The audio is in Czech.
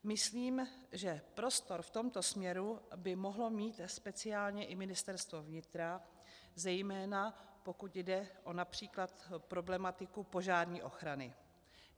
Myslím, že prostor v tomto směru by mohlo mít speciálně i Ministerstvo vnitra, zejména pokud jde o například problematika požární ochrany.